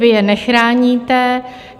Vy je nechráníte.